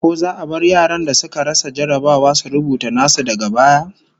Ko za a bar yaran da suka rasa jarrabawa su rubuta nasu daga baya?